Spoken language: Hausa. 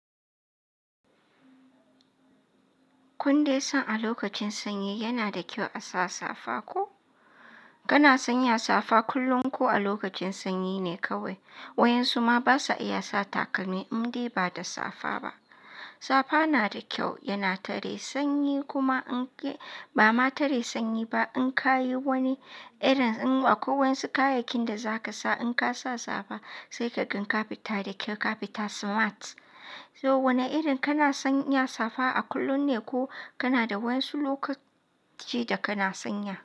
Kun dai san a lokacin sanyi yana da kyau a sa safa ko? Kana san ya safa kullum ko a lokacin sanyi ne kawai? Wayan su ma basa iya sa takalmi indai ba da safa ba. Safa na da kyau, yana tare sanyi kuma in ba ma tare sanyi ba. In ka yi wani irin, in a kwai wadance kayayyakin da za ka sa in ka sa safa, sai ka gan ka fita da kai ka fita smart. To wane irin kana san ya safa a kullum ne ko kana da wayansu lokaci da kana sanya?